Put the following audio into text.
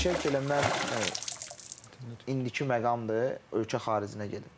Fikirləşər ki, elə mən indiki məqamdır, ölkə xaricinə gedim.